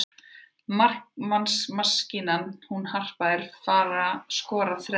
Markamaskínan hún Harpa er að fara skora þrennu.